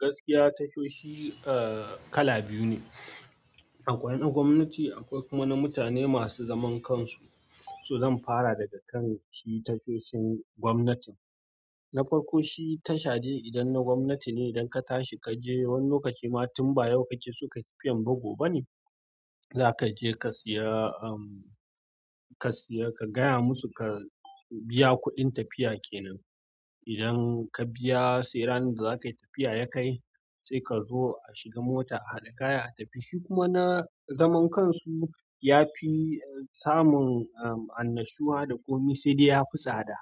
Gaskiya tashoshi, eh, kala biyu ne. Akwai na gwamnati, akwai kuma na mutane masu zaman kansu. To zan fara daga kan shi tashoshin gwamnatin. Na farko shi tashade idan na gwamnati ne idan ka tashi ka je wani lokaci ma tun baya yau kake so ka tafiyan ba gobe ba ne, za ka je ka siya, ehm, ka siya ka gaya musu ka biya kuɗin tafiya kenan. Idan ka biya, sai ranan da za ka yi tafiya ya kai sai ka zo a shiga mota, a haɗa kaya, a tafi. Shi kuma na zaman kansu, ya fi samun, ehm, annashuwa da ƙomi sai dai ya fi tsada.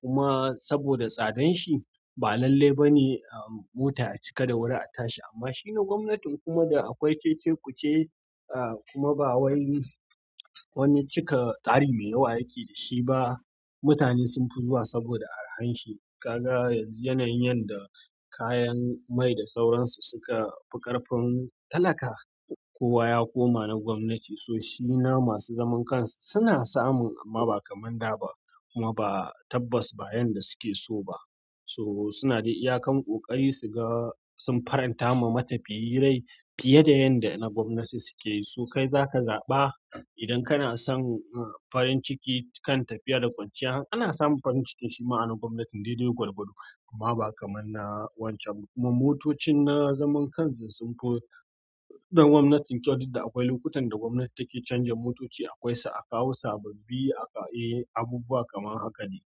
Kuma saboda tsadan shi ba lalle ba ne, ehm, mota a cika da wuri a tashi. Amma shi na gwamnatin kuma da akwai cece-kuce, a kuma ba wai wani cika tari mai yawa yake da shi ba. Mutane sun fi zuwa saboda arhan shi. Ka ga yanzu yanayin yanda kayan mai da sauransu suka fi ƙarfin talaka. Kowa ya koma na gwamnati. So shi na masu zaman kansu suna samun amma ba kamar na da ba. Kuma ba tabbas ba yanda suke so ba so suna dai iyakan ƙoƙari su ga sun faranta ma matafiyi rai fiye da yan da na gwamnati suke yi. So kai za ka zaɓa idan kana son, a, farin ciki kan tafiya da kwanciya. Ana samu farin ciki shima a na gwamnatin daidai gwalgwado amma ba kamar na wancan ba kuma motocin na zaman kansu sunfi na gwanatin kyau duk da akwai lokacin da gwamnatin ta ke canza motoci akwaisu a kawo sababi eh abubuwa kamar haka dai.